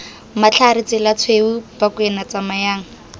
matlhare tsela tshweu bakwena tsamayang